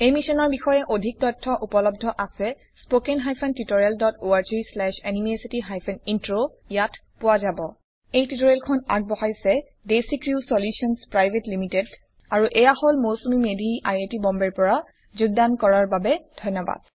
এই মিছনৰ বিষয়ে অধিক তথ্য উপলদ্ধ আছে spoken hyphen tutorial dot org slash এনএমইআইচিত হাইফেন ইন্ট্ৰ এই টিউটোৰিয়েলখন আগবঢ়াইছে দেচি ক্ৰিউ আৰু এইয়া হল Mousumi Medhi I I T বম্বেৰ পৰা যোগদান কৰাৰ বাবে ধন্যবাদ